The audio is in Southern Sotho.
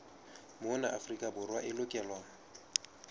mona afrika borwa e lokelwa